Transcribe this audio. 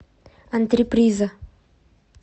антреприза